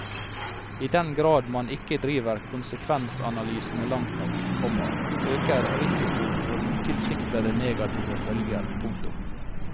I den grad man ikke driver konsekvensanalysene langt nok, komma øker risikoen for utilsiktede negative følger. punktum